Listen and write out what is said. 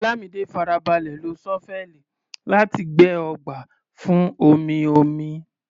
Olamide farabalẹ̀ lo ṣọ́fẹ́ẹ̀lì láti gbẹ́ ọgbà fún omi-omi.